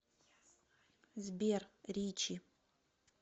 сбер ричи